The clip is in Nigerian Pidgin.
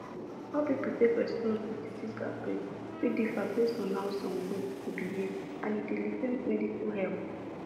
how people take respond to disease outbreak fit differ based on how some groups dey behave and e dey delay medical help